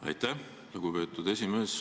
Aitäh, lugupeetud esimees!